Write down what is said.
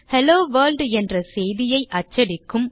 hello world என்ற செய்தியை அச்சடிக்கும்